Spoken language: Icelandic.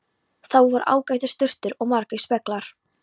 Þar voru ágætar sturtur og margir speglar!